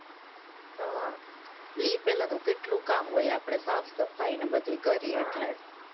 અહ ઈ પેલા તો કેટલું કામ હોય આપણે, સાફસફાઈ ને બધું કરીએ એટલે